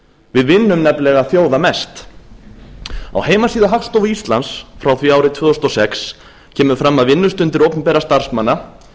við vinnum nefnilega þjóða mest á heimasíðu hagstofu íslands frá því árið tvö þúsund og sex kemur fram að vinnustundir opinberra starfsmanna